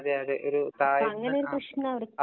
അതേ അതേ ഒരു താഴ്ന്ന